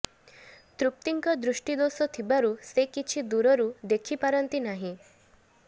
ତୃପ୍ତିଙ୍କ ଦୃଷ୍ଟିଦୋଷ ଥିବାରୁ ସେ କିଛି ଦୂରରୁ ଦେଖିପାରନ୍ତି ନାହିଁ